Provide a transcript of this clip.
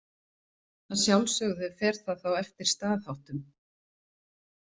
Að sjálfsögðu fer það þá eftir staðháttum.